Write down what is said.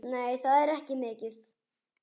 Nei, það er ekki mikið.